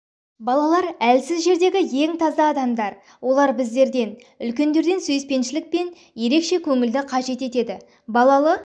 балалар әлсіз жердегі ең таза адамдар олар біздерден үлкендерден сүйіспеншілік пен ерекше көңілді қажет етеді балалы